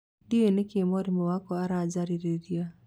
Ndiũĩ nĩkĩ mwarĩmu wakwa arajarĩrĩria